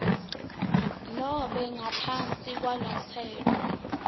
nobe ngaphansi kwalomtsetfo